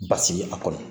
Basigi a kɔnɔ